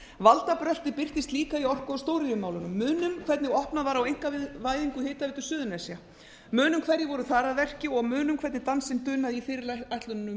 aðrar áttir valdabröltið birtist líka í orku og stóriðjumálunum munum hvernig opnað var á einkavæðingu hitaveitu suðurnesja munum hverjir voru þar að verki og munum hvernig dansinn dunaði í fyrirætlunum um